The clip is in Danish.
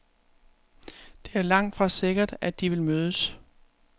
Det er langtfra sikkert, at de vil mødes.